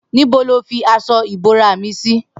Nibó ló fi aṣọ ibórà mi si